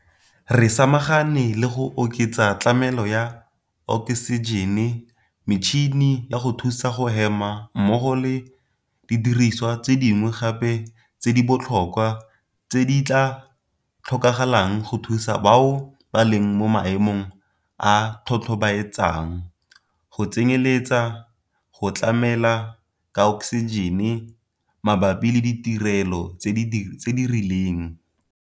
Re samagane le go oketsa tlamelo ya oksijene, metšhini ya go thusa go hema mmogo le didirisiwa tse dingwe gape tse di botlhokwa tse di tla tlhokagalang go thusa bao ba leng mo maemong a a tlhobaetsang, go tsenyeletsa go tlamela ka oksijene mabapi le ditirelo tse di rileng.